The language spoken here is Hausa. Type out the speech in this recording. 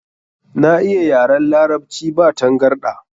Na iya yaran Larabci ba tangarɗa.